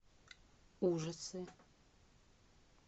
ужасы